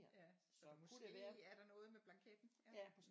Ja måske er der noget med blanketten